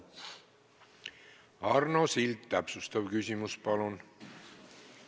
Arno Sild, täpsustav küsimus, palun!